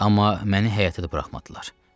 Amma məni həyətə də buraxmadılar.